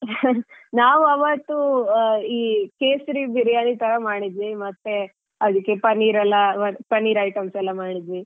ನಾವ್ ಅವತ್ತು ಈ ಕೇಸರಿ Biriyani ತರ ಮಾಡಿದ್ವಿ ಮತ್ತೆ ಅದ್ಕೆಲ್ಲಾ ಪನ್ನೀರ್ ಎಲ್ಲಾ ಪನ್ನೀರ್ items ಎಲ್ಲ ಮಾಡಿದ್ವಿ.